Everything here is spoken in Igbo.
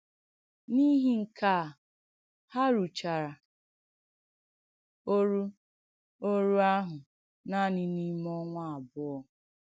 N’ìhì nke à, hà rùchàrà òrù òrù àhụ̄ nànị n’ìmè ọnwà àbùọ̀!